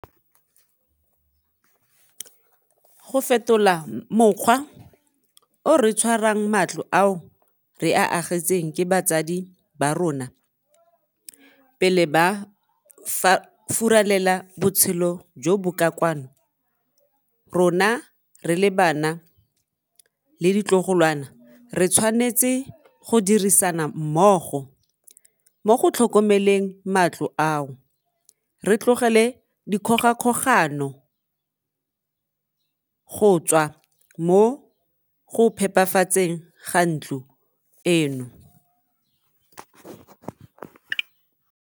Go fetola mokgwa o re tshwarang matlo ao re a agetsweng ke batsadi ba rona pele ba furalela botshelo jo bo ka kwano, rona re le bana le ditlogolwana re tshwanetse go dirisana mmogo mo go tlhokomeleng matlo ao, re tlogele dikgogakgogano go tswa mo go phepafatseng ga ntlo eno.